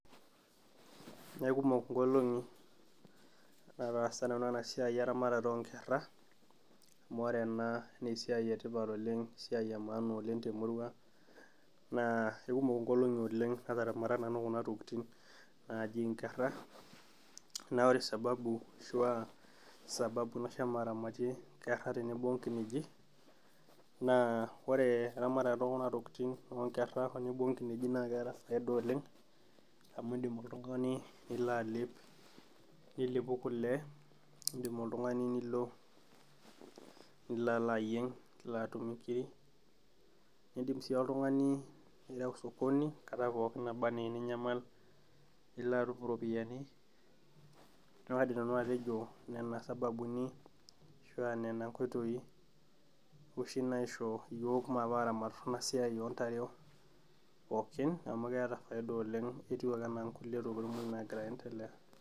Kekumok inkolong'i nataasa nanu enasiai eramatata onkera, amu ore ena nesiai etipat oleng esiai emaana oleng temurua ang, naa ekumok inkolong'i oleng nataramata nanu kuna tokiting naji nkerra, na ore sababu ashua sababu nashomo aramatie nkerra tenebo onkineji, naa ore eramatata ekuna tokiting onkerra tenebo onkineji na keeta faida oleng, amu idim oltung'ani nilo alep, nilepu kule, itum oltung'ani nilo nila alo ayieng' nilo atumie nkiri, idim si oltung'ani nireu osokoni enkata pookin naba enaa eninyamal, nilo atum iropiyiani. Na kaidim nanu atejo nena sababuni ashua nena nkoitoii oshi naisho yiok maape aramat enasiai ontare pookin amu keeta faida oleng etiu ake enaa nkulie ntokiting moj nagira aendelea.